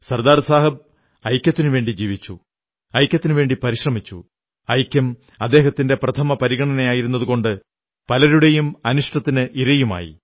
സർദാർ സാഹബ് ഐക്യത്തിനുവേണ്ടി ജീവിച്ചു ഐക്യത്തിനുവേണ്ടി പരിശ്രമിച്ചു ഐക്യം അദ്ദേഹത്തിന്റെ പ്രഥമ പരിഗണനയായിരുന്നതുകൊണ്ട് പലരുടെയും അനിഷ്ടത്തിന് ഇരയുമായി